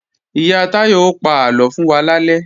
Ìyá Táyọ ó pa àlọ fún wa lálẹ́